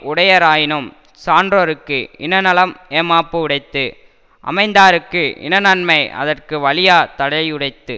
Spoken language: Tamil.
உடையராயினும் சான்றோருக்கு இனநலம் ஏமாப்பு உடைத்து அமைந்தார்க்கு இனநன்மை அதற்கு வலியா தடையுடைத்து